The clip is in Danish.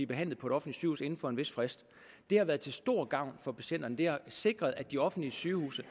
behandlet på et offentligt sygehus inden for en vis frist det har været til stor gavn for patienterne det har sikret at de offentlige sygehuse